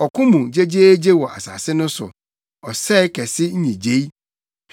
Ɔko mu gyegyeegye wɔ asase no so, ɔsɛe kɛse nnyigyei!